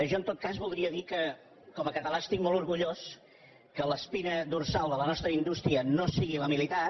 jo en tot cas voldria dir que com a català estic molt orgullós que l’espina dorsal de la nostra indústria no sigui la militar